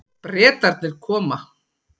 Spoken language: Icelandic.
Bretarnir koma.